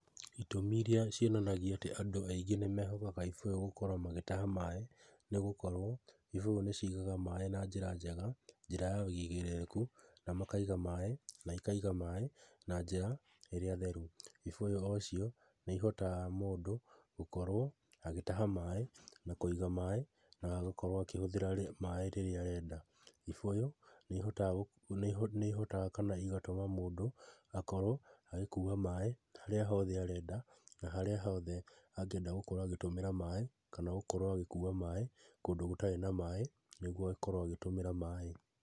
Itũmi iria cionanagia atĩ andũ aingĩ nĩmehokaga ibũyũ gũkorwo magĩtaha maaĩ nĩgũkorwo ibũyũ nĩcigaga maaĩ na njĩra njega, njĩra ya wĩigĩrĩrĩku na makaiga maaĩ, na ikaiga maaĩ na njĩra ĩrĩa theru. Ibũyũ ocio nĩ ihotaga mũndũ gũkorwo agĩtaha maaĩ na kũiga maaĩ na gũkorwo akĩhũthĩra maaĩ rĩrĩa arenda. Ibũyũ nĩihotaga, nĩho, nĩhotaga kana igatũma mũndũ akorwo agĩkua maaĩ harĩa hothe arenda na harĩa hothe angĩenda gũkorwo agĩtũmĩra maaĩ, kana gũkorwo agĩkua maaĩ kũndũ gũtarĩ na maaĩ nĩgwo akorwo agĩtũmĩra maaĩ.